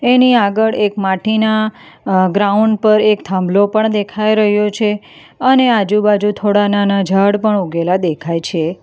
એની આગળ એક માટીના અ ગ્રાઉન્ડ પર એક થાંભલો પણ દેખાઈ રહ્યો છે અને આજુબાજુ થોડા નાના ઝાડ પણ ઉગેલા દેખાય છે.